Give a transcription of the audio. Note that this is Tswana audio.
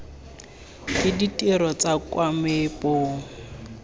ke ditiro tsa kwa meepong